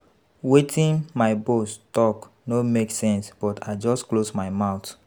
Wetin my boss talk no make sense but I just close my mouth